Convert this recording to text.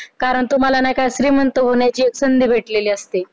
कारण तुम्हाला नाही का श्रीमंत होण्याची एक संधी भेटलेली असते